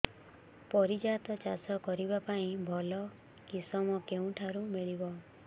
ପାରିଜାତ ଚାଷ କରିବା ପାଇଁ ଭଲ କିଶମ କେଉଁଠାରୁ ମିଳିବ